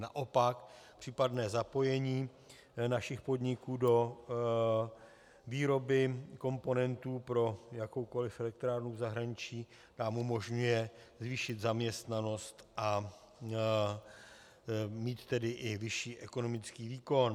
Naopak případné zapojení našich podniků do výroby komponentů pro jakoukoliv elektrárnu v zahraničí nám umožňuje zvýšit zaměstnanost, a mít tedy i vyšší ekonomický výkon.